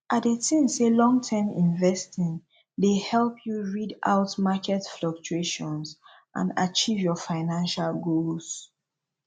i dey think say longterm investing dey help you rid out market fluctuations and achieve your financial goals